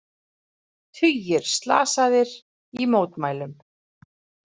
Tugir slasaðir í mótmælum